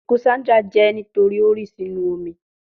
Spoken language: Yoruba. Sandra iku je nitori ti o ri bo inu omi